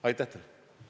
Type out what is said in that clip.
Aitäh teile!